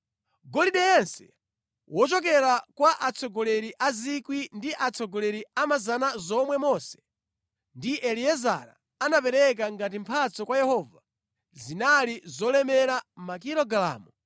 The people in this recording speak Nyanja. Golide yense wochokera kwa atsogoleri a 1,000 ndi atsogoleri a 100 zomwe Mose ndi Eliezara anapereka ngati mphatso kwa Yehova zinali zolemera makilogalamu 200.